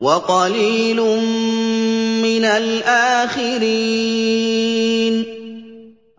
وَقَلِيلٌ مِّنَ الْآخِرِينَ